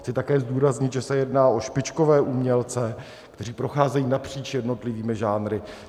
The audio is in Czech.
Chci také zdůraznit, že se jedná o špičkové umělce, kteří procházejí napříč jednotlivými žánry.